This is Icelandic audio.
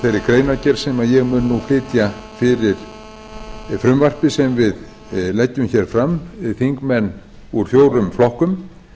greinargerð sem ég mun nú flytja fyrir frumvarpið sem við leggjum hér fram þingmenn úr fjórum flokkum